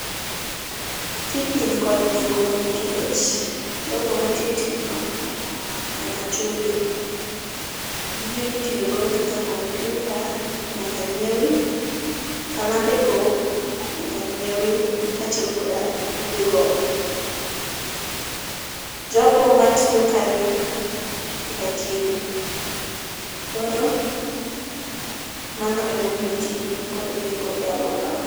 Tijni nikod nengo nikech jogo matiyo tijno nyaka chuli. Gige mitiyogo kaka komyuta nyaka nyiewi, kalambe go nyaka nyiewi kachiel koda bugego. Jogo matiyo kanyo nyaka chiemi, koro mano ema omiyo tijni nigi nengo e aluorawa